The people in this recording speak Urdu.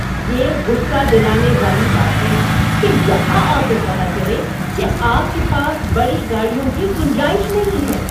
یہ غصہ دلانے والی بات ہے کہ یہاں آ کر پتہ چلے کہ آپ کے پاس بڑی گاڑیوں کی گنجائش نہیں ہے۔